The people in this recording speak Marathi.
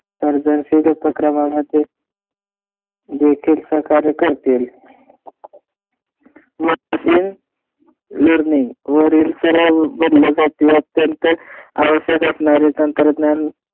सर्जनशील उपक्रमामध्ये जेथील सहकार्य करतील. machine learning वरील सराव बदलासाठी अत्यंत आवश्यक असणारे तंत्रज्ञान